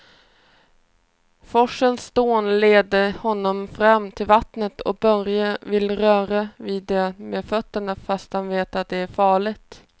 Forsens dån leder honom fram till vattnet och Börje vill röra vid det med fötterna, fast han vet att det är farligt.